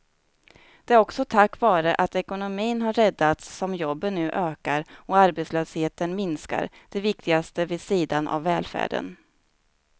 Det är också tack vare att ekonomin har räddats som jobben nu ökar och arbetslösheten minskar, det viktigaste vid sidan av välfärden.